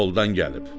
yoldan gəlib.